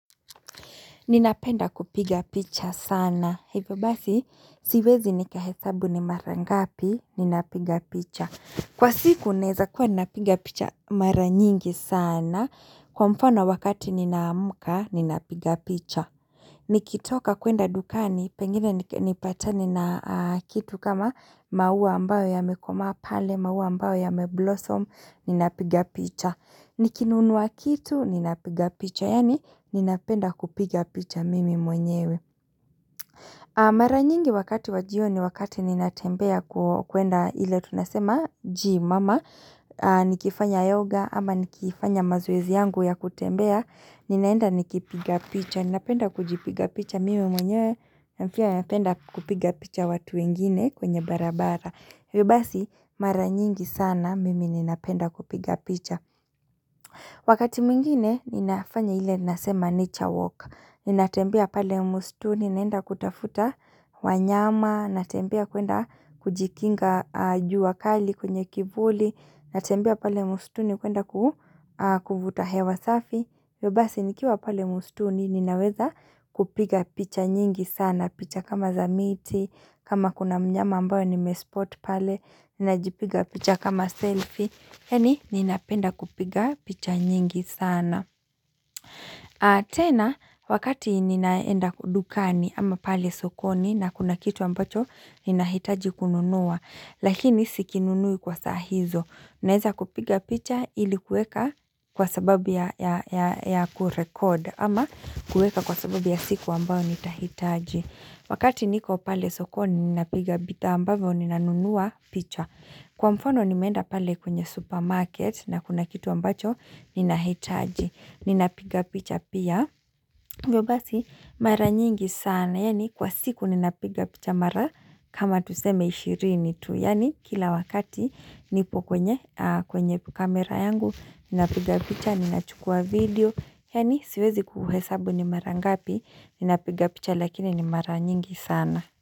Ninapenda kupiga picha sana. Hivyo basi, siwezi nikahesabu ni mara ngapi, ninapiga picha. Kwa siku naweza kuwa ninapiga picha mara nyingi sana. Kwa mfano wakati ninaamuka, ninapiga picha. Nikitoka kwenda dukani, pengine nipatani na kitu kama maua ambayo yamekomaa pale, maua ambayo yame blossom, ninapiga picha. Nikinunua kitu, ninapiga picha, yani ninapenda kupiga picha mimi mwenyewe. Mara nyingi wakati wajioni wakati ninatembea kuenda ile tunasema, gym ama, nikifanya yoga, ama nikifanya mazoezi yangu ya kutembea. Ninaenda nikipiga picha, ninapenda kujipiga picha, mimi mwenye na pia napenda kupiga picha watu wengine kwenye barabara hivyo basi mara nyingi sana, mimi ninapenda kupiga picha Wakati mwingine, ninafanya ile nasema nature walk ninatembea pale mustunj, ninaenda kutafuta wanyama natembea kwenda kujikinga jua kali kwenye kivuli natembea pale mstuni, kwenda kuvuta hewa safi hivyo basi nikiwa pale mstuni ninaweza kupiga picha nyingi sana, picha kama za miti, kama kuna mnyama ambayo nimespot pale, ninajipiga picha kama selfie, yani ninapenda kupiga picha nyingi sana. Tena, wakati ninaenda dukani ama pale sokoni na kuna kitu ambacho ninahitaji kununua, lakini si kinunui kwa saa hizo. Naweza kupiga picha ili kuweka kwa sababu ya kurecord ama kuweka kwa sababu ya siku ambayo nitahitaji. Wakati niko pale sokoni ninapiga bidhaa ambavyo ninanunua picha. Kwa mfano nimeenda pale kwenye supermarket na kuna kitu ambacho ninahitaji. Ninapiga picha pia hivyo basi mara nyingi sana Yaani kwa siku ninapiga picha mara kama tuseme ishirini yani kila wakati nipo kwenye kamera yangu Ninapiga picha Ninachukua video Yani siwezi kuhesabu ni mara ngapi Ninapiga picha lakini ni mara nyingi sana.